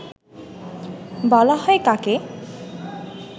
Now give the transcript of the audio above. বলা হয় কাকে